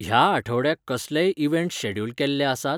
ह्या आठवड्याक कसलेय इव्हेंट्स शॅड्युल केल्ले आसात?